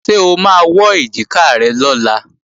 Ṣé o máa wọ́ èjìká rẹ lọ́la?